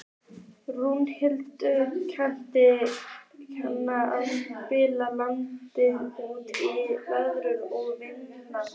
Rúnhildur, kanntu að spila lagið „Út í veður og vind“?